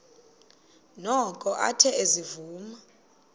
noko athe ezivuma